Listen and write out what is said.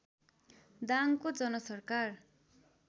दाङको जनसरकार